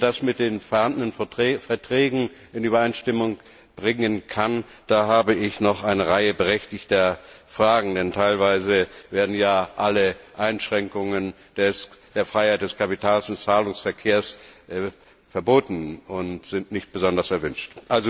Wie er das mit den vorhandenen Verträgen in Übereinstimmung bringen kann, dazu habe ich noch eine Reihe berechtigter Fragen, denn teilweise werden ja alle Einschränkungen der Freiheit des Kapitals und Zahlungsverkehrs verboten und sind nicht besonders erwünscht.